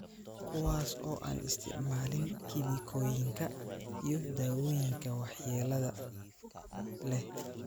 kuwaas oo aan isticmaalin kiimikooyinka iyo daawooyinka waxyeelada leh.